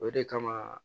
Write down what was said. O de kama